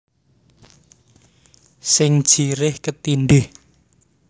Sing jerih ketindhih